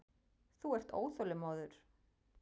Þú ert óþolinmóður.